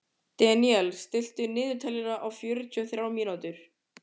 Deníel, stilltu niðurteljara á fjörutíu og þrjár mínútur.